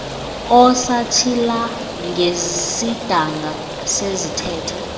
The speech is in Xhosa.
osatshila ngesidanga sezithethe